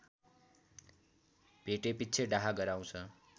भेटेपिच्छे डाहा गराउँछ